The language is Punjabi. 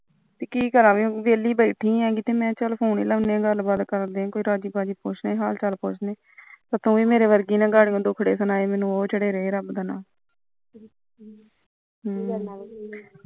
ਕੀ ਕਰਾ ਵਿਹਲੇ ਬੈਠੇ ਸੀ ਮੈ ਚੱਲ ਫੂਨ ਹੀ ਲਾਉਂਦੇ ਗੱਲਬਾਤ ਕੁਛ ਰਾਜੀ ਬਾਜੀ ਪੁਛਦੇ ਹਾਲ ਚਾਲ ਪੁਸ਼ਦੇ ਤੂੰ ਵੀ ਮੇਰੇ ਚੜੇ ਰਹੇ ਰਬ ਦਾ ਨਾਅ ਹਮ